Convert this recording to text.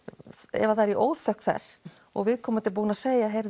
ef það er í óþökk þess og viðkomandi er búinn að segja